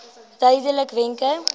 duidelikwenke